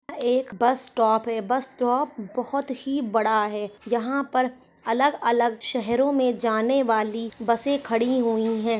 एक bus stop है bus stop बहुत ही बड़ा है यहाँ पर अलग अलग शहरों मे जाने वाली बसे खड़ी हुई है।